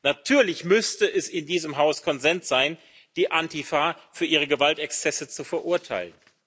Natürlich müsste es in diesem Hause Konsens sein, die Antifa für ihre Gewaltexzesse zu verurteilen.